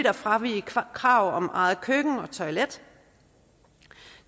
at fravige kravet om eget køkken og toilet